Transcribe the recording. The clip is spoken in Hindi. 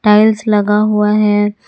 टाइल्स लगा हुआ है।